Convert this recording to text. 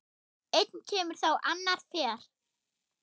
Einn kemur þá annar fer.